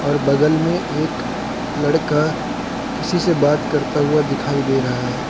बगल में एक लड़का किसी से बात करता हुआ दिखाई दे रहा है।